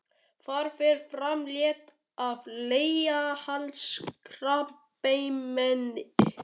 Þar fer fram leit að leghálskrabbameini.